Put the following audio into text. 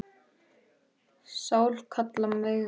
Sál manns kalla megum.